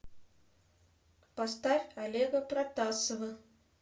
поставь олега протасова